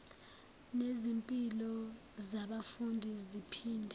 nezimpilo zabafundi ziphinde